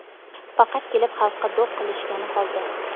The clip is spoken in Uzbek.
Faqat kelib xalqqa do‘q qilishgani qoldi.